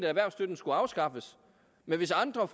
erhvervsstøtten skulle afskaffes hvis andre